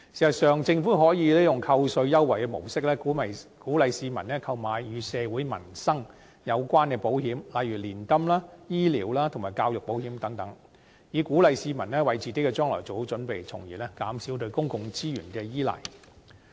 事實上，政府可用扣稅優惠的模式，鼓勵市民購買與社會民生有關的保險，例如年金、醫療及教育保險等，以鼓勵市民為自己的將來做好準備，從而減少對公共資源的依賴。